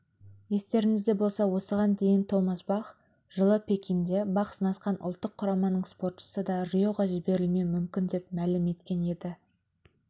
естеріңізде болса осыған дейін томас бах жылы пекинде бақ сынасқан ұлттық құраманың спортшысы да риоға жіберілмеуі мүмкін деп мәлім еткен еді